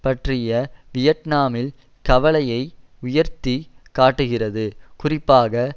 பற்றிய வியட்நாமில் கவலையை உயர்த்தி காட்டுகிறது குறிப்பாக